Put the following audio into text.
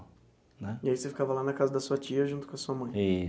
Né. E aí você ficava lá na casa da sua tia junto com a sua mãe?